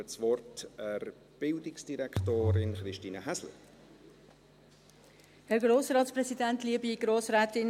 Ich gebe der Bildungsdirektorin Christine Häsler das Wort.